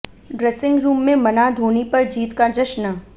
dressing room में मना धोनी पर जीत का जश्न